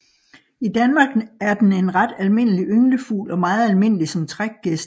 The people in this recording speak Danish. I Danmark er den en ret almindelig ynglefugl og meget almindelig som trækgæst